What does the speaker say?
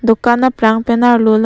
dukan aprang pen arlo long--